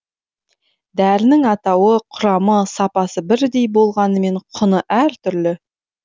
дәрінің атауы құрамы сапасы бірдей болғанымен құны әртүрлі